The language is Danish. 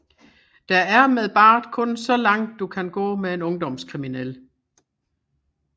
Der er med Bart kun så langt du kan gå med en ungdomskriminel